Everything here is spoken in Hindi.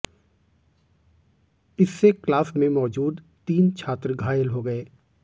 इससे क्लास में मौजूद तीन छात्र घायल हो गए